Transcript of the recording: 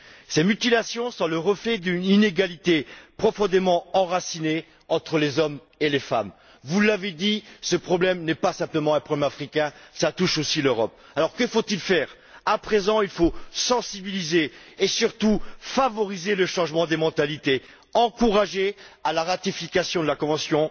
Ces mutilations sont le reflet d'une inégalité profondément enracinée entre les hommes et les femmes. Vous l'avez dit, ce problème n'est pas simplement un problème africain, il touche aussi l'Europe. Que faut il faire? Dès à présent il faut sensibiliser et, surtout, favoriser le changement des mentalités, encourager la ratification de la convention